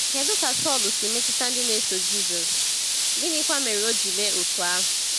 Kedu ka Saulu si metụta ndị na-eso Jisọs, gịnịkwa mere o ji mee otú ahụ?